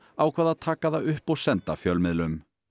ákvað að taka það upp og senda fjölmiðlum